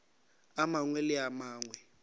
a mangwe le a mangwe